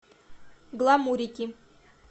гламурики